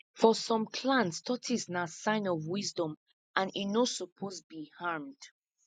for some clans tortoise na sign of wisdom and e no suppose be harmed